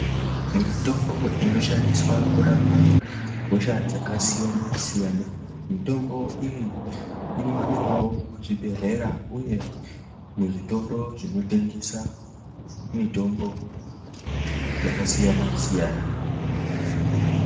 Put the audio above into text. Mitombo inoshandiswa kurapa hosha dzakasiyana-siyana, mitombo iyi inowanikwawo muzvibhedhlera uye muzvitoro zvinotengesa mitombo yakasiyana-siyana.